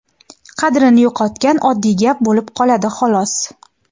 qadrini yo‘qotgan oddiy gap bo‘lib qoladi xolos.